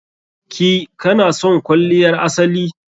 ki/ka na son kwalliyar asali?